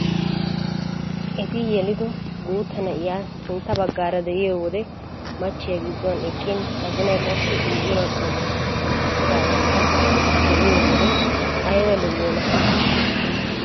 Eti yelido guutta na'iyaa sintta baggaara de'iyo wode machchiya gidduwaan eqqin azinay qassi guya bagga wurssettan eqqidaageta be'iyoo wode ayba lo"iyonaa!